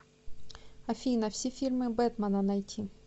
афина все фильмы бэтмана найти